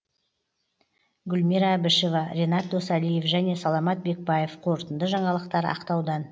гүлмира әбішева ренат досалиев және саламат бекбаев қорытынды жаңалықтар ақтаудан